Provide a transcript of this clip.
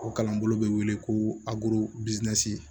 O kalanbolo bɛ wele ko